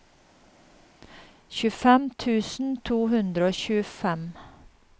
tjuefem tusen to hundre og tjuefem